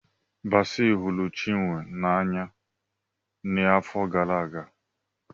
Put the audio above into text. Basi hụrụ Chinwe n'anya n'afọ gara aga.